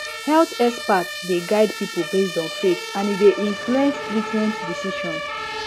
health experts dey guide people based on faith and e dey influence treatment decisions